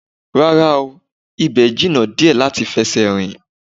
Rárá o, ibẹ̀ jìnnà díẹ̀ láti fi ẹsẹ̀ rìn